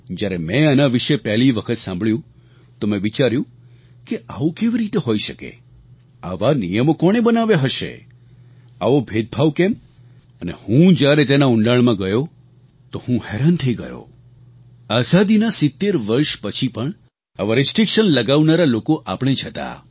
જ્યારે મેં આના વિશે પહેલી વખત સાંભળ્યું તો મેં વિચાર્યું કે આવું કેવી રીતે હોઈ શકે આવા નિયમો કોણે બનાવ્યા હશે આવો ભેદભાવ કેમ અને હું જ્યારે તેના ઊંડાણમાં ગયો તો હું હેરાન થઈ ગયો આઝાદીના 70 વર્ષ પછી પણ આવા રિસ્ટ્રિક્શન લગાવનારા લોકો આપણે જ હતા